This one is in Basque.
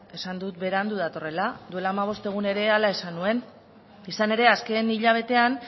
esan dut berandu datorrela duela hamabost egun ere hala esan nuen izan ere azken hilabetean